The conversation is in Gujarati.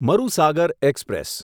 મરુસાગર એક્સપ્રેસ